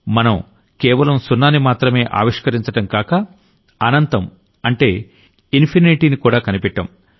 మనం కేవలం సున్నానిమాత్రం ఆవిష్కరించడమే కాక అనంతం అంటే ఇన్ఫినిటీనికూడా కనిపెట్టాం